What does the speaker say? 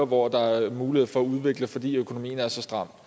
hvor der er mulighed for at udvikle fordi økonomien er så stram